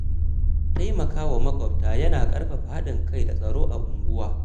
Taimaka wa maƙwabta yana ƙarfafa haɗin kai da tsaro a unguwa.